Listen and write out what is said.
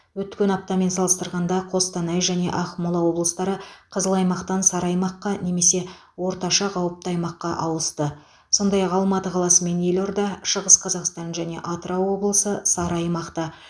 өткен аптамен салыстырғанда қостанай және ақмола облыстары қызыл аймақтан сары аймаққа немесе орташа қауіпті аймаққа ауысты сондай ақ алматы қаласы мен елорда шығыс қазақстан және атырау облысы сары аймақта